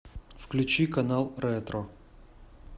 включи канал ретро